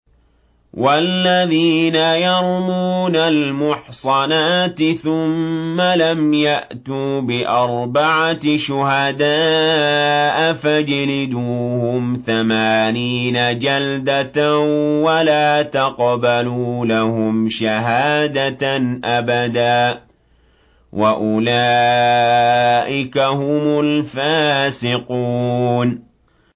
وَالَّذِينَ يَرْمُونَ الْمُحْصَنَاتِ ثُمَّ لَمْ يَأْتُوا بِأَرْبَعَةِ شُهَدَاءَ فَاجْلِدُوهُمْ ثَمَانِينَ جَلْدَةً وَلَا تَقْبَلُوا لَهُمْ شَهَادَةً أَبَدًا ۚ وَأُولَٰئِكَ هُمُ الْفَاسِقُونَ